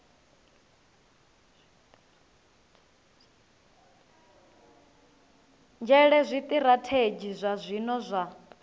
nzhele zwitirathedzhi zwa zwino zwa